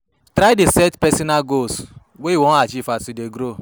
Try dey set personal goals wey you wan achieve as you dey grow